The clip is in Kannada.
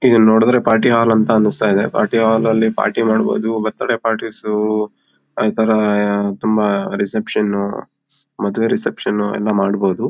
ಇದುನ್ನ ನೋಡಿದರೆ ಪಾರ್ಟಿ ಹಾಲ್ ಅಂತ ಅನ್ನಿಸ್ತಾ ಇದೆ ಪಾರ್ಟಿ ಹಾಲ್ ಅಲ್ಲಿ ಪಾರ್ಟಿ ಮಾಡಬಹುದು ಬರ್ತ್ಡೇ ಪಾರ್ಟೀಸ್ ಇತರ ತುಂಬಾ ರಿಸೆಪ್ಶನ್ ಮದುವೆ ರಿಸೆಪ್ಶನ್ ಎಲ್ಲ ಮಾಡಬಹುದು.